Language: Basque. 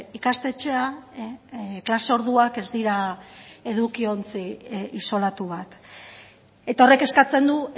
ikastetxea klase orduak ez dira eduki ontzi isolatu bat eta horrek eskatzen du